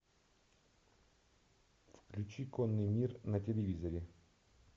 включи конный мир на телевизоре